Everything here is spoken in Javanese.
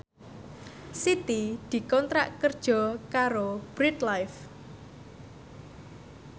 Siti dikontrak kerja karo Bread Life